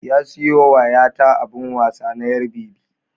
Ya sayo wa 'ya ta abin wasa na 'yar bebi